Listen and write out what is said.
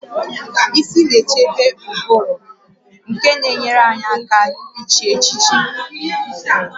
Isi na-echebe ụbụrụ nke na-enyere anyị aka iche echiche